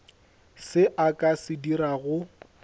se a ka se dirago